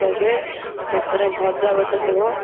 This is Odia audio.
ତା ପରେ ଭଜା ଗୋଟେ ଥିବ